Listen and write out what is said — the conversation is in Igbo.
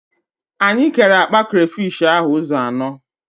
Anyị kere akpa krafish ahụ ụzọ anọ